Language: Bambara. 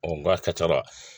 Ɔ n k'a kɛtɔla